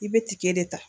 I bɛ tigɛ de ta